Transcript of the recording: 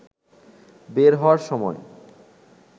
বের হওয়ার সময়